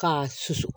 K'a susu